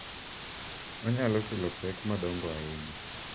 Onyalo kelo pek madongo ahinya.